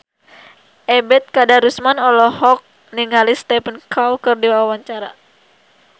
Ebet Kadarusman olohok ningali Stephen Chow keur diwawancara